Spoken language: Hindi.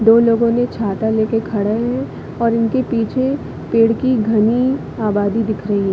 दो लोगो ने छाता ले कर खड़े है और उनके पीछे पेड़ की घनी आबादी दिख रही है।